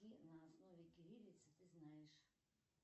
на основе кириллицы ты знаешь